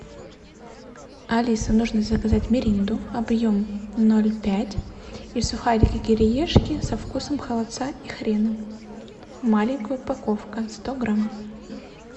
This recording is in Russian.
алиса нужно заказать миринду объемом ноль пять и сухарики кириешки со вкусом холодца и хрена маленькая упаковка сто грамм